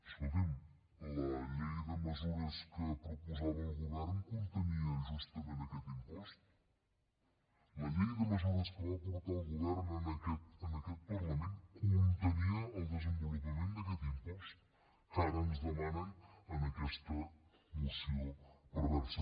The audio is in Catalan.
escolti’m la llei de mesures que proposava el govern contenia justament aquest impost la llei de mesures que va portar el govern a aquest parlament contenia el desenvolupament d’aquest impost que ara ens demanen en aquesta moció perversa